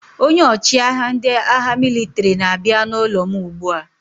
Onye ọchịagha ndị agha mịlịtrị na-abịa n'ụlọ m ugbu a.